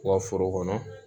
U ka foro kɔnɔ